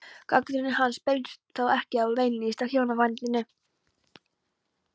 Gagnrýni hans beinist þó ekki beinlínis að hjónabandinu.